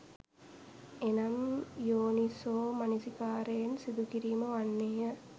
එනම් යෝනිසෝමනසිකාරයෙන් සිදුකිරීම වන්නේ ය.